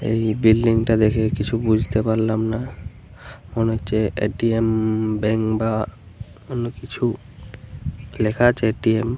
এই বিল্ডিং তা দেখে কিছু বুঝতে পারলাম না। মনে হচ্ছে এ.টি.এম. ব্যাঙ্ক বা অন্য কিছু লেখা আছে এ.টি.এম. ।